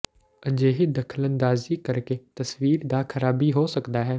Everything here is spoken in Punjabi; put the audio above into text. ਅਜਿਹੀ ਦਖਲਅੰਦਾਜ਼ੀ ਕਰਕੇ ਤਸਵੀਰ ਦਾ ਖਰਾਬੀ ਹੋ ਸਕਦਾ ਹੈ